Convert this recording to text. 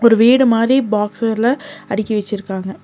வீடு மாரி பாக்ஸர்ல அடுக்கி வெச்சிருக்காங்க.